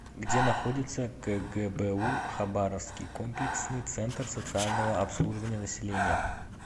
где находится кгбу хабаровский комплексный центр социального обслуживания населения